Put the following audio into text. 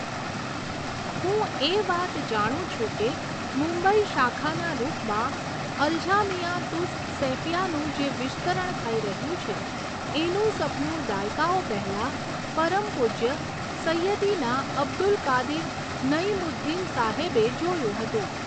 હું એ વાત જાણું છું કે મુંબઈ શાખાના રૂપમાં અલજામિઆ તુસ સૈફિયાનું જે વિસ્તરણ થઈ રહ્યું છે, એનું સપનું દાયકાઓ પહેલા પરમ પૂજ્ય સૈયદિના અબ્દુલકાદિર નઈમુદ્દીન સાહેબે જોયું હતું.